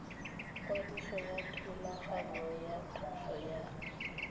kwadiso yathulaganyo ya thuso ya